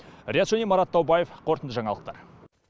риат шони марат таубаев қорытынды жаңалықтар